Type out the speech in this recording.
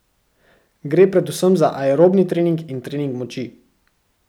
Gre predvsem za aerobni trening in trening moči.